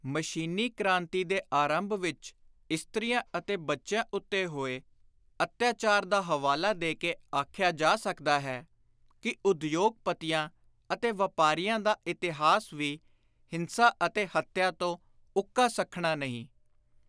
ਮਸ਼ੀਨੀ ਕ੍ਰਾਂਤੀ ਦੇ ਆਰੰਭ ਵਿਚ ਇਸਤ੍ਰੀਆਂ ਅਤੇ ਬੱਚਿਆਂ ਉੱਤੇ ਹੋਏ ਅੱਤਿਆਚਾਰ ਦਾ ਹਵਾਲਾ ਦੇ ਕੇ ਆਖਿਆ ਜਾ ਸਕਦਾ ਹੈ ਕਿ ਉਦਯੋਗ-ਪਤੀਆਂ ਅਤੇ ਵਾਪਾਰੀਆਂ ਦਾ ਇਤਿਹਾਸ ਵੀ ਹਿੰਸਾ ਅਤੇ ਹੱਤਿਆ ਤੋਂ ਉੱਕਾ ਸੱਖਣਾ ਨਹੀਂ।